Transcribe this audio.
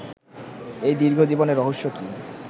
এই দীর্ঘ জীবনের রহস্য কী